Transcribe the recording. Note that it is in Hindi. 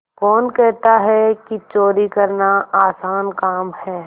कौन कहता है कि चोरी करना आसान काम है